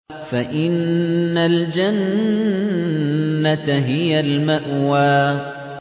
فَإِنَّ الْجَنَّةَ هِيَ الْمَأْوَىٰ